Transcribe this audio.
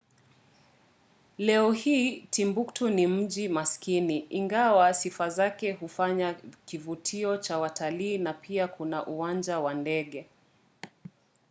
leo hii timbuktu ni mji maskini ingawa sifa zake huufanya kivutio cha watalii na pia kuna uwanja wa ndege